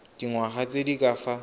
dingwaga tse di ka fa